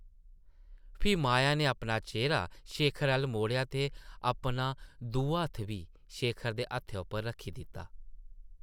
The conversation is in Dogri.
फ्ही माया नै अपना चेह्रा शेखर अʼल्ल मोड़ेआ ते अपना दूआ हत्थ बी शेखर दे हत्थै उप्पर रक्खी दित्ता ।